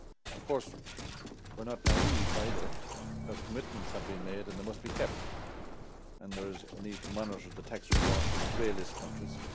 Of course, we're not naive either, as commitments have been made and they must be kept, and there is a need to monitor the tax reforms of the grey list countries.